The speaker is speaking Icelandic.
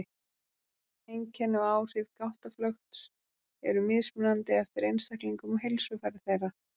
Einkenni og áhrif gáttaflökts eru mismunandi eftir einstaklingum og heilsufari þeirra.